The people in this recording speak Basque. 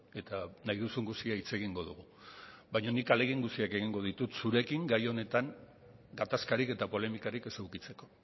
eta nahi duzun guztia hitz egingo dugu baina nik ahalegin guztiak egingo ditut zurekin gai honetan gatazkarik eta polemikarik ez edukitzeko